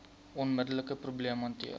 onmiddelike probleem hanteer